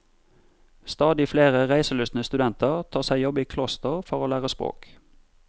Stadig flere reiselystne studenter tar seg jobb i kloster for å lære språk.